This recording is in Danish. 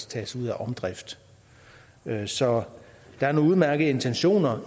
tages ud af omdrift så der er nogle udmærkede intentioner